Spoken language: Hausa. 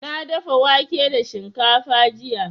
Na dafa wake da shinkafa jiya.